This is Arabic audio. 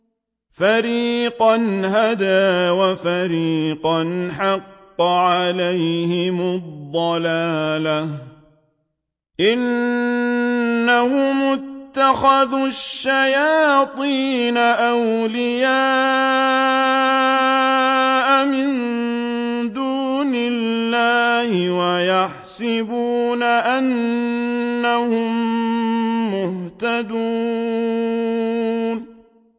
فَرِيقًا هَدَىٰ وَفَرِيقًا حَقَّ عَلَيْهِمُ الضَّلَالَةُ ۗ إِنَّهُمُ اتَّخَذُوا الشَّيَاطِينَ أَوْلِيَاءَ مِن دُونِ اللَّهِ وَيَحْسَبُونَ أَنَّهُم مُّهْتَدُونَ